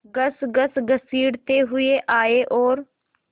खसखस घसीटते हुए आए और